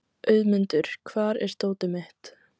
Auðmundur, hvar er dótið mitt?